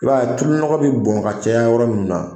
I b'a ye, a tulu nɔgɔ be bɔn ka caya yɔrɔ min na